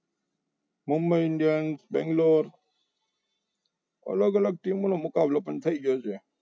Mumbai indians Bangalore અલગ અલગ team નો મુકાબલો પણ થઈ ગયો છે.